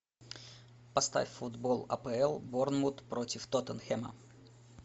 поставь футбол апл борнмут против тоттенхэма